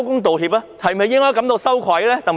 鄧炳強是否應該感到羞愧呢？